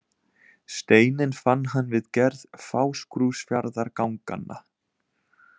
Steininn fann hann við gerð Fáskrúðsfjarðarganganna.